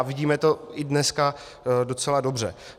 A vidíme to i dneska docela dobře.